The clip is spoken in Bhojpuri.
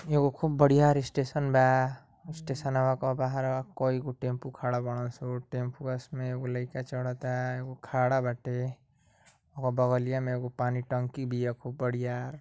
एगो खूब बढ़ियार स्टेशन बा ओ स्टेशनवा की बहरा कई गो टेम्पू खड़ा बाड़े सन टेम्पुआं में एगो लइका चढ़ता एगो खड़ा बाटे ओकरा बगलिया में एगो पानी टंकी बिया खूब बरियार।